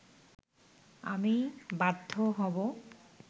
আমি বাধ্য হব